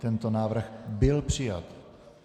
Tento návrh byl přijat.